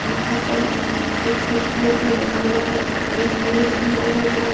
यहां पर एक स्विच बोर्ड भी लगा हुआ है और एक मिरर भी लगा हुआ है।